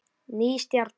Ný stjarna